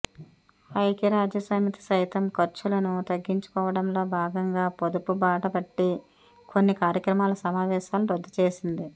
ఐక్యరాజ్యసమితి సైతం ఖర్చులను తగ్గించుకోవడంలో భాగంగా పొదుపుబాటపట్టి కొన్ని కార్యక్రమాల సమావేశాలను రద్దుచేసింది